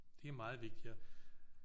Det er meget vigtigere